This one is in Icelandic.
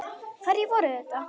Hverjir voru þetta?